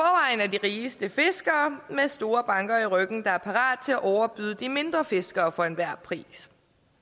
er de rigeste fiskere med store banker i ryggen der er parate til at overbyde de mindre fiskere for enhver pris